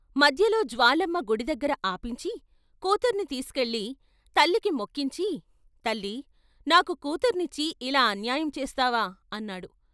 మధ్యలో జ్వాలమ్మ గుడి దగ్గర ఆపించి కూతుర్ని తీసికెళ్ళి తల్లికి మొక్కించి "తల్లీ నాకు కూతుర్నిచ్చి ఇలా అన్యాయం చేస్తావా అన్నాడు.